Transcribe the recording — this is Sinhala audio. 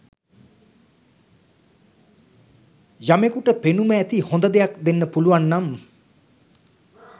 යමෙකුට පෙනුම ඇති හොඳ දෙයක් දෙන්න පුළුවන් නම්